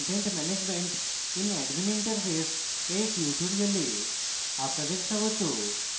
content management in admin interface এর tutorial আপনাদের স্বাগত